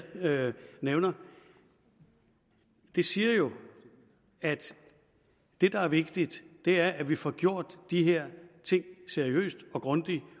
nævner siger jo at det der er vigtigt er at vi får gjort de her ting seriøst og grundigt